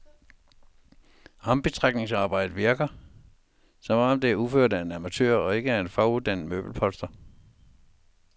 Ombetrækningsarbejdet virker, som om det er udført af en amatør og ikke af en faguddannet møbelpolstrer.